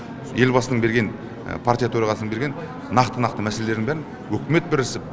елбасының берген партия төрағасының берген нақты нақты мәселелерін бәрін үкімет бірісіп